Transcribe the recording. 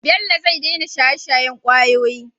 bello zai daina shaye shayen kwayoyi